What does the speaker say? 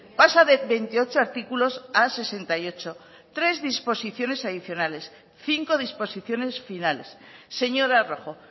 pasa de veintiocho artículos a sesenta y ocho tres disposiciones adicionales cinco disposiciones finales señora rojo